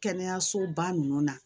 Kɛnɛyasoba ninnu na